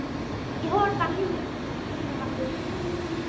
Í honum var líf, og lífið var ljós mannanna.